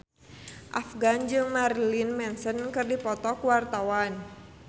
Afgan jeung Marilyn Manson keur dipoto ku wartawan